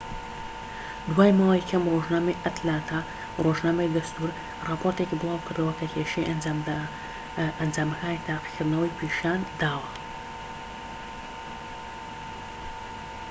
دوای ماوەیەکی کەم ڕۆژنامەی ئەتلانتا ڕۆژنامەی دەستوور ڕاپۆرتێکی بڵاوکردەوە کە کێشەی ئەنجامەکانی تاقیکردنەوەی پیشان داوە